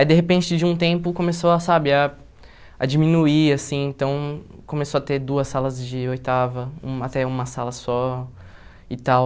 Aí, de repente, de um tempo, começou a, sabe, a a diminuir, assim, então começou a ter duas salas de oitava, uma até uma sala só e tal.